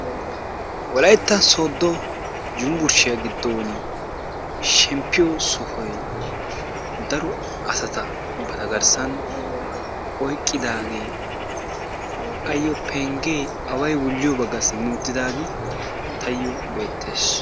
wolaytta Soodo Yunbburshshiya giddon shemppiyo sohoy dro asata ba garssa oyqqidaagee ayyo pengge away wuliyo bagga simmi uttidaage tayyo beettees.